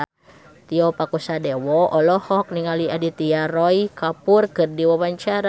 Tio Pakusadewo olohok ningali Aditya Roy Kapoor keur diwawancara